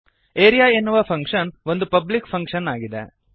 area ಎನ್ನುವ function ಒಂದು public function ಆಗಿದೆ